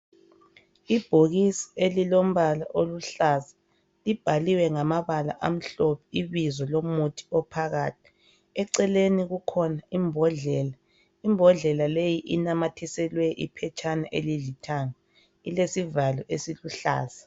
Ibhokisi elilombala oluhlaza libhaliwe ngamabala amhlophe ibizo lomuthi ophakathi. Eceleni kukhona imbodlela, imbodlela leyi inamathiselwe iphetshana elilithanga, ilesivalo esiluhlaza.